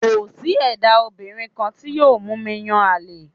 Kò sí ẹ̀dábìnrin kan tí yóò mú mi yàn àlè